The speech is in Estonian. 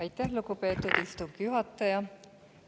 Aitäh, lugupeetud istungi juhataja!